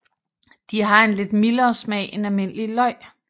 De har en lidt mildere smag end almindelige løg